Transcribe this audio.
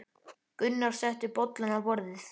Gunnar setti bollana á borðið.